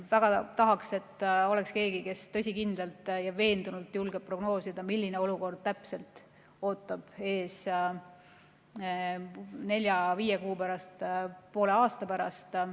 Väga tahaks, et oleks keegi, kes tõsikindlalt ja veendunult julgeb prognoosida, milline olukord täpselt ootab ees nelja-viie kuu pärast, poole aasta pärast.